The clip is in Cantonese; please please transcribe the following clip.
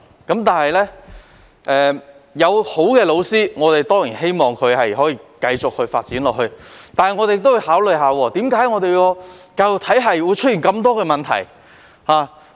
儘管我們希望好的教師可以繼續發展，但也要考慮為何香港的教育體系會出現這麼多問題。